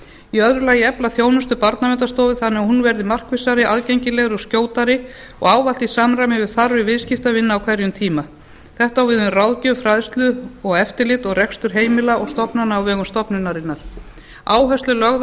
í öðru lagi að efla þjónustu barnaverndarstofu þannig að hún verði markvissari aðgengilegri og skjótari og ávallt í samræmi við þarfir viðskiptavina á hverjum tíma þetta á við um ráðgjöf fræðslu og eftirlit og rekstur heimila og stofnana á vegum stofnunarinnar áhersla er lögð á